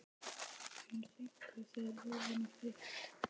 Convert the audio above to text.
En fenguð þið lóðina frítt?